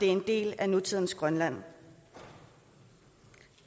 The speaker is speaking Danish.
en del af nutidens grønland